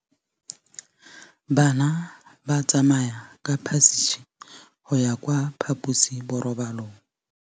Bana ba tsamaya ka phašitshe go ya kwa phaposiborobalong.